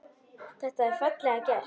Þetta er fallega gert.